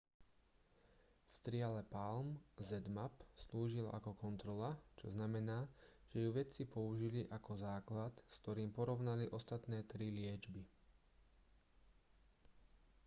v triale palm zmapp slúžila ako kontrola čo znamená že ju vedci použili ako základ s ktorým porovnali ostatné tri liečby